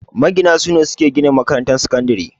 Magina ne suke gina makarantar sakandire